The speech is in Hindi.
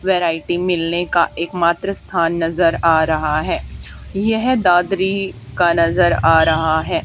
वैरायटी मिलने का एक मात्र स्थान नजर आ रहा है यह दादरी का नजर आ रहा है।